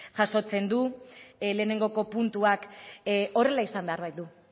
jasotzen du lehenengo puntuak horrela izan behar baitu